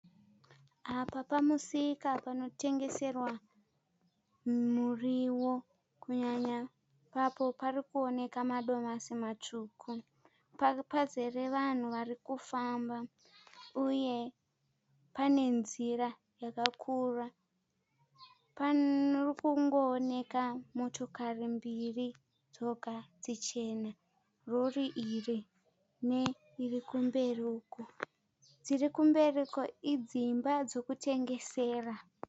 Apa pamusika panotengeserwa muriwo. Kunyanya ipapo parikuonekwa madomasi matsvuku. Pazere vanhu varikufamba uye pane nzira yakakura. Parikungooneka motokari mbiri dzoga dzichena. Rori iri ne irikumberiuko. Dziri kumberi uko idzimba dzekutengesera.